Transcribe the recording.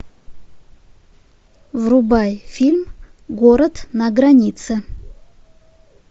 врубай фильм город на границе